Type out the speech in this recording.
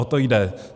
O to jde.